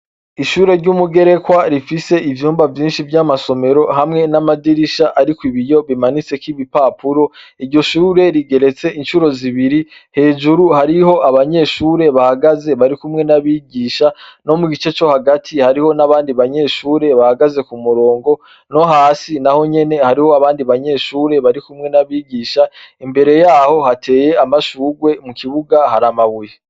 Ishure ry'umugerekwa rifise ivyumba vyinshi vy'amasomero hamwe n'amadirisha, ariko ibiyo bimanitsekoibipapuro iryo shure rigeretse incuro zibiri hejuru hariho abanyeshure bahagaze bari kumwe n'abigisha no mu gice co hagati hariho n'abandi banyeshure bahagaze ku murongo no hasi na ho nyene hariho abandi banyeshure bari kumwe n'abigisha imbere yaho hateye amashurwe mu kibuga hari amabuye.